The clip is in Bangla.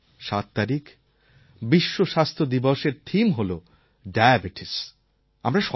এই জন্য ৭ তারিখ বিশ্ব স্বাস্থ্য দিবসের থিম হল ডায়াবেটিস